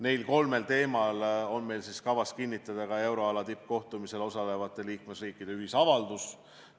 Neil kolmel teemal on kavas kinnitada euroala tippkohtumisel osalevate liikmesriikide ühisavaldus.